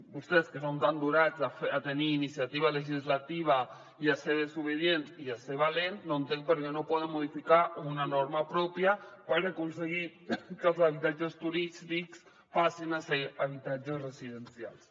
vostès que són tan donats a tenir iniciativa legislativa i a ser desobedients i a ser valents no entenc per què no poden modificar una norma pròpia per aconseguir que els habitatges turístics passin a ser habitatges residencials